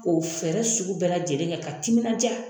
K'o fɛɛrɛ sugu bɛɛ lajɛlen kɛ ka timinan ja.